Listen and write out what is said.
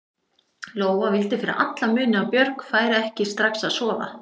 Lóa vildi fyrir alla muni að Björg færi ekki strax að sofa.